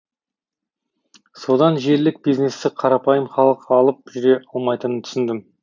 содан желілік бизнесті қарапайым халық алып жүре алмайтынын түсіндім